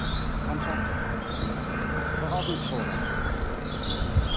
қанша қырық алтыншы жылғы мхм